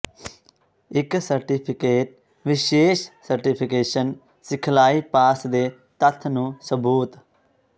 ਇੱਕ ਸਰਟੀਫਿਕੇਟ ਵਿਸ਼ੇਸ਼ ਸਰਟੀਫਿਕੇਸ਼ਨ ਸਿਖਲਾਈ ਪਾਸ ਦੇ ਤੱਥ ਨੂੰ ਸਬੂਤ